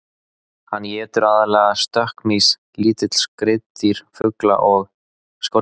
Hann étur aðallega stökkmýs, lítil skriðdýr, fugla og skordýr.